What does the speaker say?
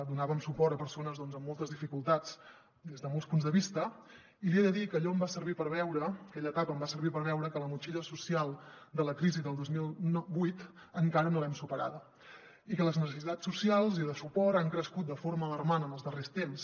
donàvem suport a persones doncs amb moltes dificultats des de molts punts de vista i li he de dir que allò em va servir per veure aquella etapa em va servir per veure que la motxilla social de la crisi del dos mil vuit encara no l’hem superada i que les necessitats socials i de suport han crescut de forma alarmant en els darrers temps